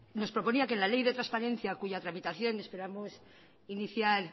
nos proponía que la ley de transparencia cuya tramitación esperamos iniciar